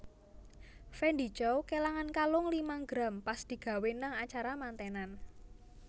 Fendy Chow kelangan kalung limang gram pas digawe nang acara mantenan